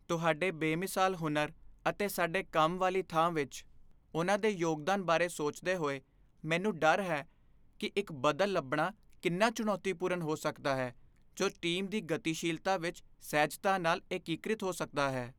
ਤੁਹਾਡੇ ਬੇਮਿਸਾਲ ਹੁਨਰ ਅਤੇ ਸਾਡੇ ਕੰਮ ਵਾਲੀ ਥਾਂ ਵਿੱਚ ਉਨ੍ਹਾਂ ਦੇ ਯੋਗਦਾਨ ਬਾਰੇ ਸੋਚਦੇ ਹੋਏ, ਮੈਨੂੰ ਡਰ ਹੈ ਕਿ ਇੱਕ ਬਦਲ ਲੱਭਣਾ ਕਿੰਨਾ ਚੁਣੌਤੀਪੂਰਨ ਹੋ ਸਕਦਾ ਹੈ ਜੋ ਟੀਮ ਦੀ ਗਤੀਸ਼ੀਲਤਾ ਵਿੱਚ ਸਹਿਜਤਾ ਨਾਲ ਏਕੀਕ੍ਰਿਤ ਹੋ ਸਕਦਾ ਹੈ।